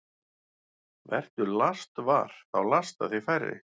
Vertu lastvar – þá lasta þig færri.